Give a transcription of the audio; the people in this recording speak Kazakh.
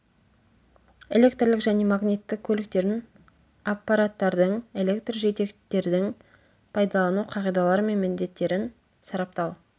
электрлік және магниттік көліктердің аппараттардың электр жетектердің пайдалану қағидалары мен міндеттерін сараптау